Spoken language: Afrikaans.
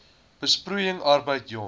besproeiing arbeid jong